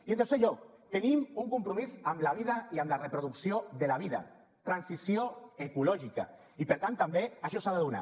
i en tercer lloc tenim un compromís amb la vida i amb la reproducció de la vida transició ecològica i per tant també això s’ha de donar